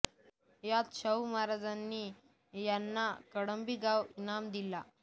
यात शाहू महाराजांनी यांना कळंबी गाव इनाम दिला